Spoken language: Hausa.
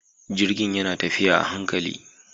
Jirgin yana tafiya a hankali.